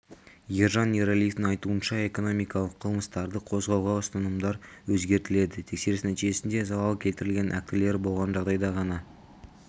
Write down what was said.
ержан ераливтің айтуынша экономикалық қылмыстарды қозғауға ұстанымдар өзгертіледі тексеріс нәтижесінде залал келтірілген актілері болған жағдайда ғана